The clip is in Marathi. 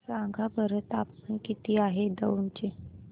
सांगा बरं तापमान किती आहे दौंड चे